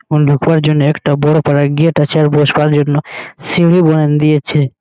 অন্ধকার যেন একটা বড় পারা গেট আছে আর বয়সকার জন্য সিড়ি বাইন দিয়েছে।